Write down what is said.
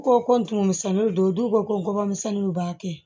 Ko ko n tummisɛnninw don n ko kɔbɔminw b'a kɛ